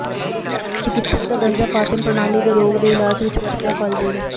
ਚਿਕਿਤਸਕ ਦਾ ਦਰਜਾ ਪਾਚਨ ਪ੍ਰਣਾਲੀ ਦੇ ਰੋਗ ਦੇ ਇਲਾਜ ਵਿਚ ਵਰਤਿਆ ਫਲ ਜੀਰੇ